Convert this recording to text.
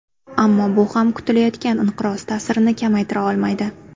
Ammo bu ham kutilayotgan inqiroz ta’sirini kamaytira olmaydi.